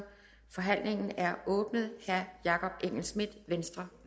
forhandlingen er åbnet herre jakob engel schmidt venstre